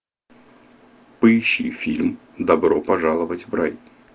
поищи фильм добро пожаловать в рай